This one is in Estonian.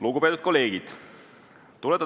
Lugupeetud kolleegid!